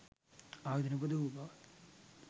ආයුධ නිපදවූ බවත්,